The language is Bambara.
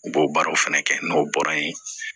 U b'o baaraw fɛnɛ kɛ n'o bɔra yen